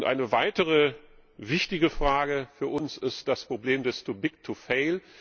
Eine weitere wichtige Frage für uns ist das Problem des too big to fail